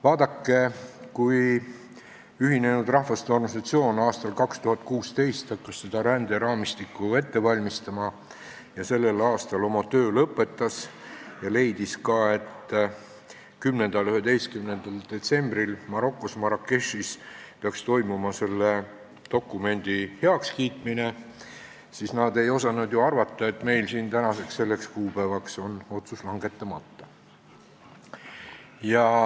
Vaadake, kui Ühinenud Rahvaste Organisatsioon hakkas aastal 2016 seda ränderaamistikku ette valmistama, sellel aastal oma töö lõpetas ja leidis, et 10.–11. detsembril peaks Marokos Marrakechis toimuma selle dokumendi heakskiitmine, siis nad ei osanud ju arvata, et meil siin on tänaseni, selle kuupäevani otsus langetamata.